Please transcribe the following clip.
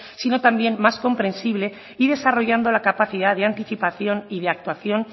sino también más comprensible y desarrollando la capacidad de anticipación y de actuación